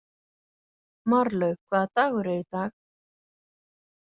Marlaug, hvaða dagur er í dag?